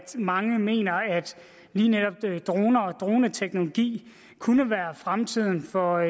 mange mener at lige netop droner og droneteknologi kunne være fremtiden for